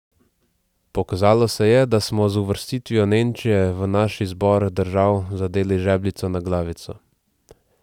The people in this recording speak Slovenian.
Pokazalo se je, da smo z uvrstitvijo Nemčije v naš izbor držav zadeli žebljico na glavico.